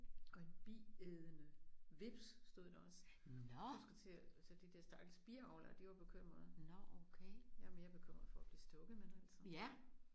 Og en biædende hveps stod der også. Du skal til så der der stakkels biavlere de var bekymrede. Jeg er mere bekymret for at blive stukket men altså